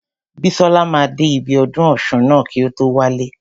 Bísọ́la máa dé ibi ọdún ọ̀ṣun ná kí o tó wálé.